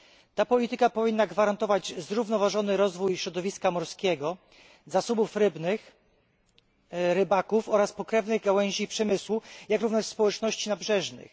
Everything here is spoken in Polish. Ta polityka powinna gwarantować zrównoważony rozwój środowiska morskiego, zasobów rybnych, rybaków oraz pokrewnych gałęzi przemysłu, jak również społeczności nabrzeżnych.